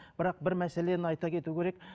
бірақ бір мәселені айта кету керек